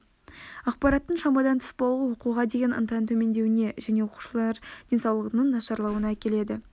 ақпараттың шамадан тыс болуы оқуға деген ынтаның төмендеуіне және оқушылар денсаулығының нашарлауына әкеледі